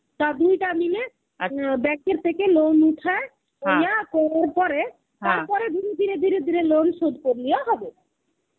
তা দুইটা মিলে ব্যাঙ্ক এর থেকে loan উঠায় পরে তারপরে ধীরে ধীরে loan শোধ করিলে হবে.